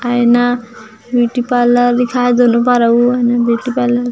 आयना beauty parlour लिखाए दोनों पार अऊ ओहा ब्यूटी पार्लर --